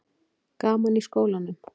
Gaman í skólanum?